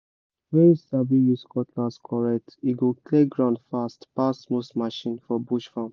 when you sabi use cutlass correct e go clear ground fast pass most machine for bush farm